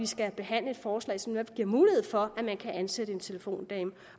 skal behandle et forslag som netop giver mulighed for at man kan ansætte en telefondame